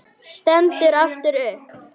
Stendur aftur upp.